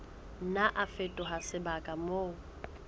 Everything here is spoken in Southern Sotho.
nna a fetoha sebaka moo